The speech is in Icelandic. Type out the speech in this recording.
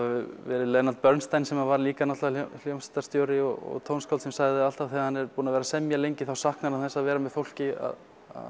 verið Leonard Bernstein sem var líka náttúrulega hljómsveitrastjóri og tónskáld sem sagði að alltaf þegar hann er búinn að vera að semja lengi þá saknar hann þess að vera með fólki að